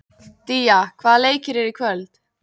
Día, hvaða leikir eru í kvöld?